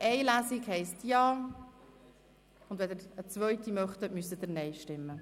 Eine Lesung heisst Ja, wenn Sie eine zweite Lesung wollen, müssen Sie Nein stimmen.